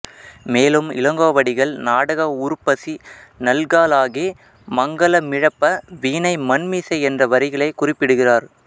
மேலும் இளங்கோவடிகள் நாடக உருப்பசி நல்காளாகி மங்கலமிழப்ப வீணை மண்மிசை என்ற வரிகளைக் குறிப்பிடுகிறார்